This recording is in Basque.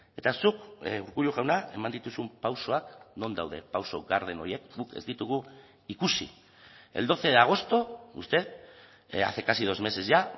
eta zuk urkullu jauna eman dituzun pausoak non daude pauso garden horiek guk ez ditugu ikusi el doce de agosto usted hace casi dos meses ya